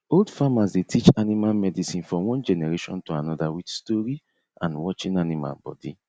old farmers dey teach animal medicine from one generation to another with story and watching animal body